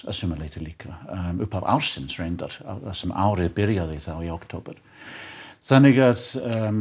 að sumu leyti líka upphaf ársins reyndar þar sem árið byrjaði þá í október þannig að